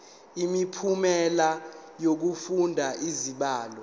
imiphumela yokufunda izibalo